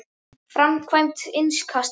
Framkvæmd innkasta?